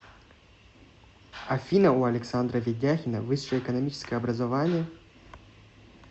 афина у александра ведяхина высшее экономическое образование